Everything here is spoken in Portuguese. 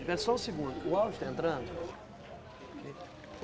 Espera só um segundo, o áudio está entrando?